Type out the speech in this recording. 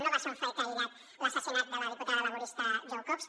no va ser un fet aïllat l’assassinat de la diputada laborista jo cox